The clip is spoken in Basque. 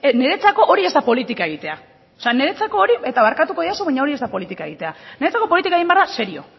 niretzako hori ez da politika egitea niretzako hori eta barkatuko didazu baina hori ez da politika egitea niretzako politika egin behar da serio